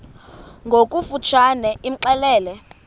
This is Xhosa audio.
ngokofu tshane imxelele